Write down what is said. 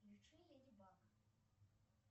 включи леди баг